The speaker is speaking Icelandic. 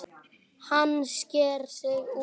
Hann sker sig úr.